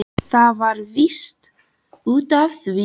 Það var víst út af því!